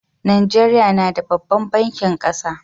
Najeriya na da babban bankin kasa.